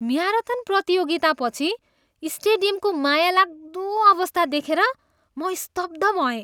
Marathon प्रतियोगितापछि स्टेडियमको मायालाग्दो अवस्था देखेर म स्तब्ध भएँ।